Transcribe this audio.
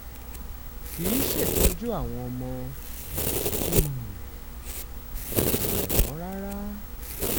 kì í ṣètọ́jú àwọn ọmọ um rẹ mọ́ rárá